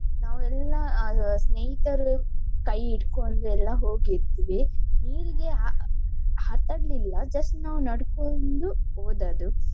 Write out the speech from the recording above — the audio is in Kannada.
ನಾವು ಎಲ್ಲಾ ಆಹ್ ಸ್ನೇಹಿತರು ಕೈ ಹಿಟ್ಕೊಂಡು ಎಲ್ಲ ಹೋಗಿದ್ವಿ. ನೀರಿಗೆ ಹ~ ಆಟಾಡ್ಲಿಲ್ಲ just ನಾವು ನಡ್ಕೊಂಡು ಹೋದದ್ದು.